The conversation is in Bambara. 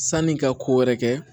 San'i ka ko wɛrɛ kɛ